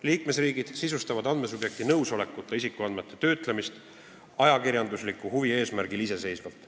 Liikmesriigid sisustavad andmesubjekti nõusolekuta isikuandmete töötlemist ajakirjandusliku huvi eesmärgil iseseisvalt.